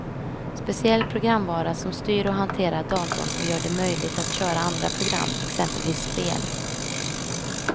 Speciell programvara som styr och hanterar datorn och gör det möjligt att köra andra program, exempelvis spel.